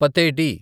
పతేటి